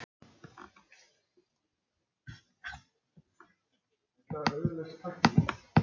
Ég get nú farið fyrir þig í apótekið.